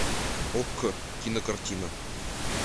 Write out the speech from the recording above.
окко кинокартина